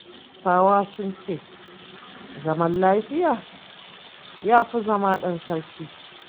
Hausawa sun ce zama lafiya ya fi zama ɗan sarki.